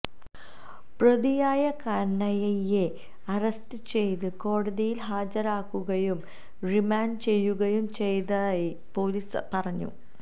പ്രതിയായ കനയ്യയെ അറസ്റ്റ് ചെയ്ത് കോടതിയില് ഹാജരാക്കുകയും റിമാന്ഡ് ചെയ്യുകയും ചെയ്തതായി പോലീസ് പറഞ്ഞു